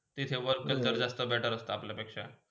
तिचे worker जर जास्त better असता अपलापेक्ष